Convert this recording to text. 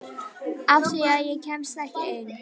Af því að ég kemst ekki ein.